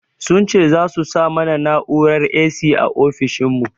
Sun ce za su sa mana na'urar 'A.C' a ofishin mu